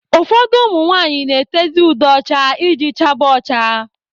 Ụfọdụ ụmụ nwanyị na-etezị ude ọcha iji chaba ọcha.